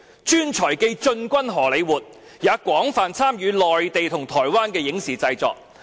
專才既進軍荷李活，也廣泛參與內地和台灣的影視製作。